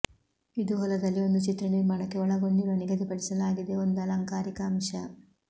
ಇದು ಹೊಲದಲ್ಲಿ ಒಂದು ಚಿತ್ರ ನಿರ್ಮಾಣಕ್ಕೆ ಒಳಗೊಂಡಿರುವ ನಿಗದಿಪಡಿಸಲಾಗಿದೆ ಒಂದು ಅಲಂಕಾರಿಕ ಅಂಶ